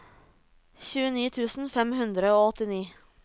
tjueni tusen fem hundre og åttini